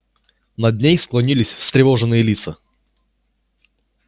над ней склонились встревоженные лица